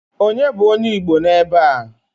Onye bụ onye igbo n'ebe a?